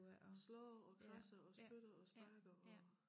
Slår og kradser og spytter og sparker og